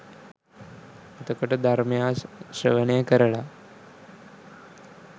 එතකොට ධර්මය ශ්‍රවණය කරලා